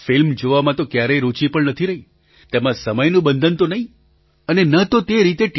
film જોવામાં તો ક્યારેય રુચિ પણ નથી રહી તેમાં સમયનું બંધન તો નહીં અને ન તો તે રીતે ટી